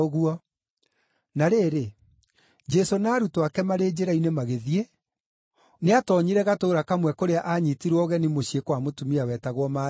Na rĩrĩ, Jesũ na arutwo ake marĩ njĩra-inĩ magĩthiĩ, nĩatoonyire gatũũra kamwe kũrĩa aanyiitirwo ũgeni mũciĩ kwa mũtumia wetagwo Maritha.